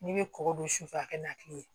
N'i bɛ kɔkɔ don sufɛ a ka na kile ye